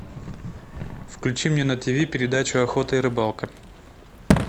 включи мне на тиви передачу охота и рыбалка